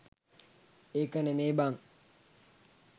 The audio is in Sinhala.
ඒක නෙමේ බන්